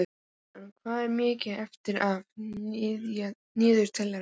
Tristana, hvað er mikið eftir af niðurteljaranum?